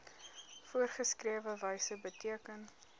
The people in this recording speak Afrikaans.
voorgeskrewe wyse beteken